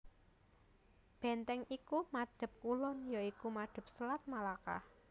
Bèntèng iku madhep kulon ya iku madhep Selat Malaka